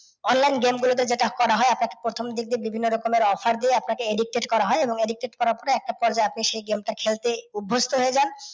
Online game গুলোতে যেটা করা হয় আপনাকে প্রথম দিনকে বিভিন্ন রকমের offer দিয়ে আপনাকে addicted করা হয় এবং addicted করার পরে একটা পর্যায়ে আপনি সেই গেমটা খেলতে অভ্যস্ত হয়ে যান